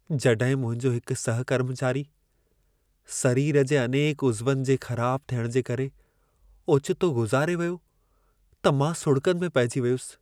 जॾहिं मुंहिंजो हिकु सहकर्मचारी, सरीर जे अनेक उज़वनि जे ख़राब थियणु जे करे ओचितो गुज़ारे वियो, त मां सुॾिकनि में पहिजी वियुसि।